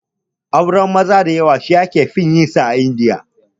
Auren maza da yawa aure ne da aka fi yin sa a Indiya